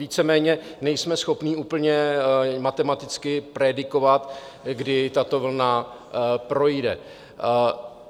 Víceméně nejsme schopni úplně matematicky predikovat, kdy tato vlna projde.